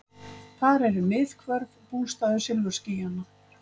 Þar eru miðhvörf, bústaður silfurskýjanna.